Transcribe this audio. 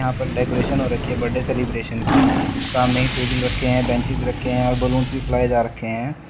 यहां पर डेकोरेशन हो रखी है बर्थडे सेलिब्रेशन की सामने टेबल रखे हैं बेंचेस रखे हैं और बैलून भी फुलाए जा रखे हैं।